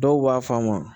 Dɔw b'a faamu